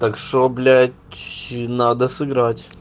так что блять надо сыграть